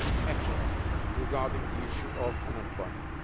actions regarding the issue of unemployment.